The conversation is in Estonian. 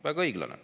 Väga õiglane.